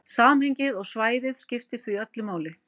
Samhengið og svæðið skiptir því öllu máli.